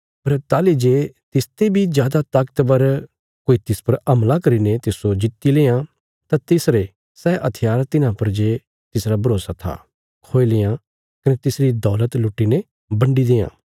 पर ताहली जे तिसते बी जादा ताकतवर कोई तिस पर हमला करीने तिस्सो जित्ति लेआं तां तिसरे सै हथियार तिन्हां पर जे तिसरा भरोसा था खोई लेआं कने तिसरी दौलत लुट्टी ने बन्डी देआं